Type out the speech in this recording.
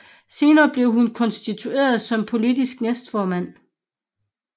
Senere blev hun konstitueret som politisk næstformand